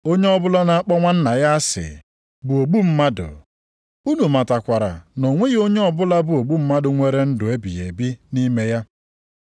Onye ọbụla na-akpọ nwanna ya asị bụ ogbu mmadụ, unu matakwara na o nweghị onye ọbụla bụ ogbu mmadụ nwere ndụ ebighị ebi nʼime ya.